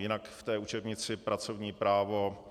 Jinak k té učebnici Pracovní právo,